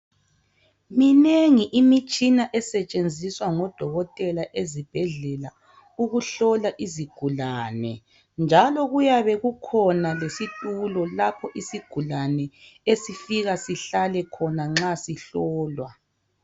Minengi imitshina esetshenziswa ngodokotela ezibhedlela ukuhlola izigulane njalo kuyabe kukhona lesitulo lapha isigulane esifika sihlale khona nxa sihlolwa.